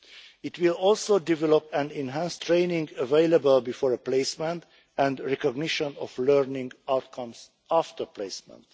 It will also develop an enhanced training, available before a placement, and recognition of learning outcomes after placement.